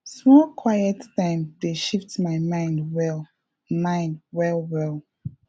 small quiet time dey shift my mind well mind well well